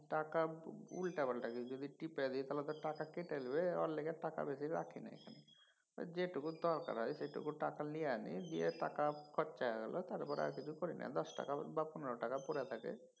টাকা উল্টাপাল্টা কিছু যদি টিপা দি তাহলে তো টাকা কেটে লিবে ওর লইগাই তো টাকা বেশি রাখি নাই। যেটুকু দরকার হয় সেটুকু টাকা লিয়ে নি সে টাকা খরচা হয়ে গেলো তারপরে আর কিছু ভরি না। দশ টাকা বা পনের টাকা পইরা থাকে।